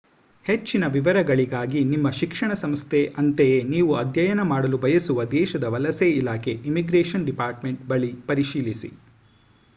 ಹೆಚ್ಚಿನ ವಿವರಗಳಿಗಾಗಿ ನಿಮ್ಮ ಶಿಕ್ಷಣ ಸಂಸ್ಥೆ ಅಂತೆಯೇ ನೀವು ಅಧ್ಯಯನ ಮಾಡಲು ಬಯಸುವ ದೇಶದ ವಲಸೆ ಇಲಾಖೆ ಇಮ್ಮಿಗ್ರೇಶನ್ ಡಿಪಾರ್ಟ್‌ಮೆಂಟ್ ಬಳಿ ಪರಿಶೀಲಿಸಿ